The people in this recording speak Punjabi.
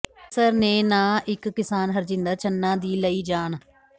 ਕੈਂਸਰ ਨੇ ਨਾ ਇਕ ਕਿਸਾਨ ਹਰਜਿੰਦਰ ਛੰਨਾਂ ਦੀ ਲਈ ਜਾਨ